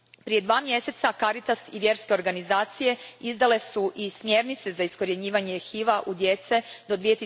Prije dva mjeseca Caritas i vjerske organizacije izdali su i smjernice za iskorjenjivanje HIV a u djece do